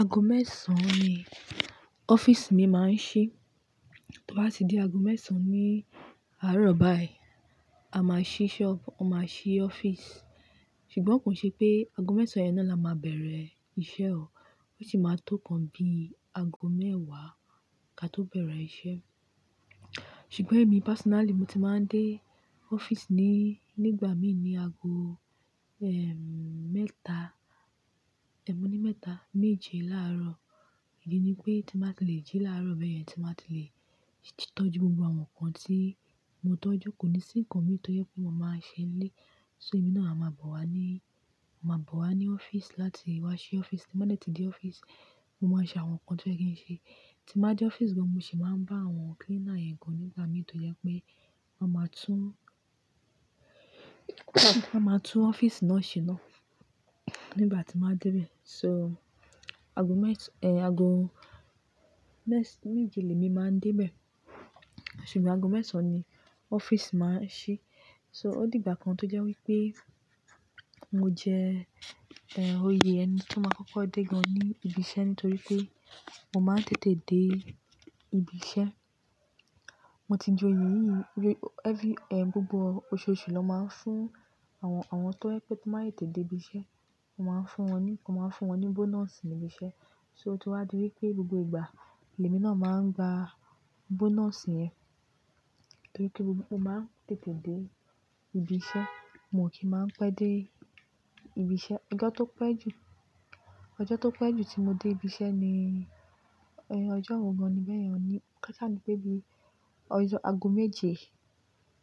Aago mẹ́sàn-án ni ọ́fíìsì mi máa ń ṣí. Tó bá ti di aago mẹ́sàn-án ní àárọ̀ báyìí, a máa ṣí ṣọ́ọ̀bù, a máa ṣí ọ́fíìsì. Ṣùgbọ́n kò ṣe pé aago mẹ́sàn-án yẹn náà la máa bẹ̀rẹ̀ iṣẹ́ o. Ó ṣì máa tó ǹkan bí i aago mẹ́wàá ká tó bẹ̀rẹ̀ iṣẹ́. Ṣùgbọ́n èmi personally mo ti máa ń dé ọ́fíìsì ni, nígbà mi ni aago, ehm, mẹ́ta, èmi ni mẹ́ta, méje láàrọ̀. Èyí ni pé tí mo bá ti le jí láàrọ̀ bẹ́ẹ̀ yẹn, tí m bá ti le títọ́jú gbogbo àwọn nǹkan tí mo tọ́jú, kò ní sí nǹkan mì tó jẹ́ pé mo máa ṣe n lé. So èmi náà a máa bọ̀ wá ní, máa bọ̀ wá ní ọ́fíìsì láti wá ṣí ọ́fíìsì. Tí mo bá dẹ̀ tí dé ọ́fíìsì, mo máa ṣe àwọn nǹkan tí ó yẹ kí n ṣe. Tí mo bá dé ọ́fíìsì gan, mo sì máa ń bá àwọn cleaner yẹn gan nígbà mi tó jẹ́ pé wọ́n máa tún, wọ́n máa tún ọ́fíìsì náà ṣe náà nígbà tí mo bá dé bẹ́ẹ̀. So aago mẹ́ta, eh, aago méje lèmi máa ń dé bẹ́ẹ̀. Ṣùgbọ́n aago mẹ́sàn-án ni ọ́fíìsì máa ń ṣí. So ó di ìgbà kan tó jẹ́ wí pé mo jẹ́, eh, oyè ẹni tó máa kọ́kọ́ dé gan ní ibi iṣẹ́ nítorí pé mo máa ń tètè dé ibi iṣẹ́. Mo ti jẹ́ oyè yìí, every, eh, gbogbo oṣooṣù ló máa ń fún àwọn, àwọn tó yẹ pé kí wọ́n máa tètè dé ibi iṣẹ́. Wọ́n máa ń fún wọn ní, wọ́n máa ń fún wọn ní bonus ní ibi iṣẹ́. So ó ti wá di wí pé gbogbo ìgbà, lèmi náà máa ń gba bonus yẹn nítorí pé mo máa ń tètè dé ibi iṣẹ́, mo kì í máa ń pẹ́ dé ibi iṣẹ́. Ọjọ́ tó pẹ́ jù, ọjọ́ tó pẹ́ jù tí mo dé ibi iṣẹ́ ni, eh, ọjọ́ wo gan ni bẹ́ẹ̀ yẹn, ọ ní káṣá ni pé bí i ọjọ́ aago méje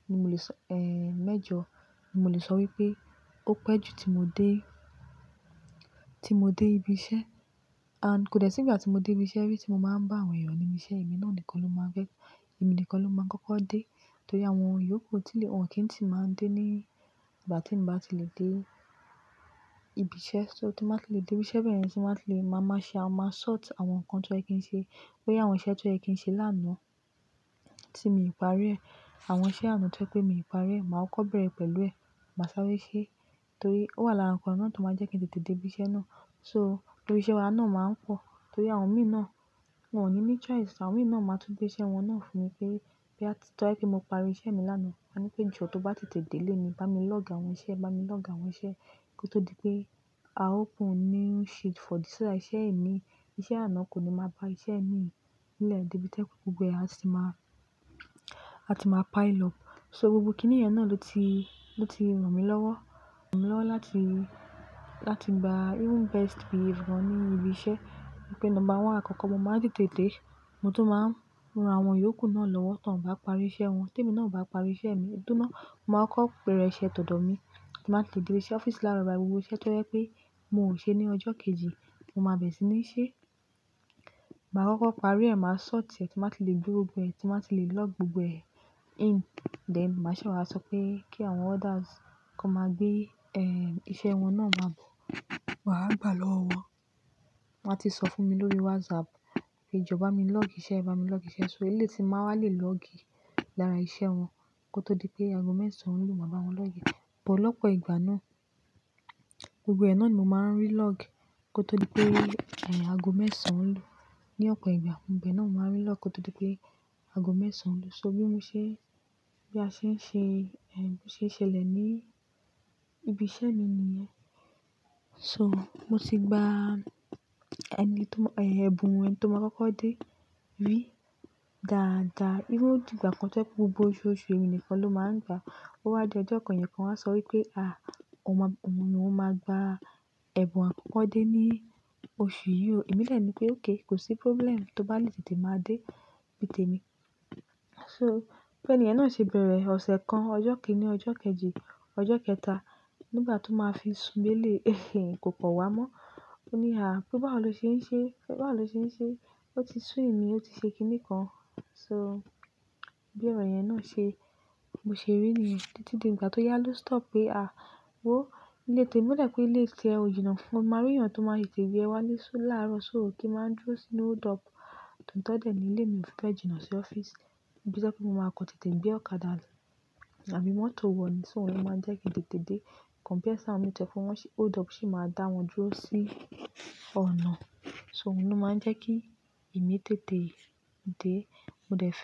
ni mo lè sọ, eh, mẹ́jọ ni mo lè sọ wí pé ó pẹ́ jù tí mo dé, tí mo dé ibi iṣẹ́. And kò dẹ̀ sí ìgbà tí mo dé ibi iṣẹ́ rí tí mo máa ń bá àwọn èèyàn ní ibi iṣẹ́. Èmi náà nìkan ló máa ń gbé, èmi nìkan ló máa ń kọ́kọ́ dé nítorí àwọn yòókù ti lè, wọn kì í ti máa ń dé ní ìgbà tí mo bá ti lè dé ibi iṣẹ́. So tí mo bá ti lè dé ibi iṣẹ́ bẹ́ẹ̀ yẹn, tí mo bá ti lè, màá máa ṣe, màá ma sort àwọn nǹkan tí ó yẹ kí n ṣe. Bóyá àwọn iṣẹ́ tí ó yẹ kí n ṣe lánàá tí mi ò parí ẹ́, àwọn iṣẹ́ àná to jẹ pé mi parí ẹ́, màá kọ́bẹ̀rẹ̀ pẹ̀lú ẹ, màá sáré ṣe torí ó wà lára nǹkan náà tó máa ń jẹ́ kí n tètè dé ibi iṣẹ́ náà. So torí iṣẹ́ wa náà máa ń pọ̀ torí àwọn mi náà, wọ́n ò ní ní choice. Àwọn mi náà máa tún gbé iṣẹ́ wọn náà fún mi pé, pé bóyá ti, tó ha pé mo parí iṣẹ́ mi lánàá, wọ́n a ní pé jọ tó bá tètè dé léni, bá mi lọ́gì àwọn iṣẹ́, bá mi lọ́gì àwọn iṣẹ́ kó tó di pé a open new sheet for this iṣẹ́ ẹni yí. Iṣẹ́ àná kò ní máa bá iṣẹ́ mi nílẹ̀ débi to jẹpé gbogbo ẹ̀ àti máa, àti máa pile up. So gbogbo kíní yẹn náà ló ti, ló ti ràn mí lọ́wọ́, ràn mí lọ́wọ́ láti, láti gba even best behave gan ní ibi iṣẹ́ pé nọ́mbà one àkọ́kọ́ mo máa ń tètè de. Mo tún máa ń ràn àwọn yòókù náà lọ́wọ́ tán bá parí iṣẹ́ wọn. Tí èmi náà o bá parí iṣẹ́ mi, tó má, màá kọ́bẹ̀rẹ̀ iṣẹ́ tọdọ mi kí n má ti lè dé sí ọ́fíìsì láàrọ̀ báyìí gbogbo iṣẹ́ tí ó jẹ pé mo ò ṣe ní ọjọ́ kejì mo máa bẹ̀rẹ̀ sí ní ṣe. Màá kọ́kọ́ parí ẹ, màá sort ẹ, tí mo bá ti lè gbé gbogbo ẹ, tí mo bá ti lè lọ́gì gbogbo ẹ in, then màá ṣẹ sọ pé kí àwọn others kan máa gbé, ehm, iṣẹ́ wọn náà máa bọ̀, máa wá lọ́wọ́. Wọn máa ti sọ fún mi lórí WhatsApp pé "Jọ, bá mi lọ́gì iṣẹ́, bá mi lọ́gì iṣẹ́." So eléyìí ti máa wá lè lọ́gì lára iṣẹ́ wọn kó tó di pé aago mẹ́sàn-án ń lù máa bá wọn lọ́gi ẹ. Ọ̀pọ̀lọpọ̀ ìgbà náà, gbogbo ẹ̀ náà ni mo máa ń rí lọ́gì kó tó di pé, eh, aago mẹ́sàn-án ń lù. Ni ọ̀pọ̀ ìgbà gbogbo ẹ náà mo máa ń rí lọ́gì kó tó di pé aago mẹ́sàn-án ń lù. So bí mo ṣe, bí a ṣe ń ṣe, eh, ṣe ṣẹlẹ̀ ní ibi iṣẹ́ mi ni yẹn. So mo ti gba ẹni tó mọ, eh, ẹbùn ẹni tó máa kọ́kọ́ dé rí dáadáa. Even ó di ìgbà kan tó jẹ́ pé gbogbo oṣooṣù èmi nìkan ló máa ń gba. Ó wá di ọjọ́ kan èèyàn kan wa sọ wí pé, "Ah! O ma, o ma gba ẹbùn àkọ́kọ́ dé ní oṣù yìí o." Èmi dẹni pé okay, kò sí problem, tó bá lè tètè máa dé, tètè mi. So bi ènìyẹn náà ṣe bẹ̀rẹ̀ ọ̀sẹ̀ kan, ọjọ́ kìn-ín-ní, ọjọ́ kejì, ọjọ́ kẹta, nígbà tó máa fi sù bé lé, kò kan wá mọ́. Ó ní, "Ah! Pé báwo lo ṣe ń ṣe? Báwo lo ṣe ń ṣe? Ó ti sú mi, ó ti ṣe kíní kan." So bí ọrọ̀ yẹn náà ṣe, mo ṣe rí nìyẹn. Ìgbà tó yá ló stop pé, ah! Wo ilé tè-- o da pé ilé ti ẹ ó jìnà fún ọ. O máa rí èèyàn tó máa tètè gbé ẹ wá ní sún láàrọ̀, so ò kí máa ń dúró sínú o dọ́ọ̀pù tootọ́ dẹ̀ ní ilé mi o fibẹ jìnà sí ọ́fíìsì. Bíi pé kí mo máa kọ́ tètè gbé ọ̀kadà lọ tàbí mọ́tò wọ̀n ni, so òun ló máa ń jẹ́ kí n tètè dé. Compare sí àwọn mi tó jẹ́ wọ́n ṣe, o dọ́ọ̀pù sì máa dá wọn dúró sí ọ̀nà. So òun ló máa ń jẹ́ kí èmi tètè dé. Mo dẹ̀ fẹ́